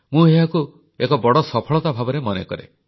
ମୁଁ ଏହାକୁ ଏକ ବଡ଼ ସଫଳତା ଭାବରେ ମନେକରେ